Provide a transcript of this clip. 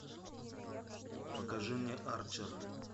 покажи мне арчер